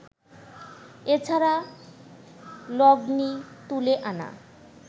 এ ছাড়া লগ্নি তুলে আনা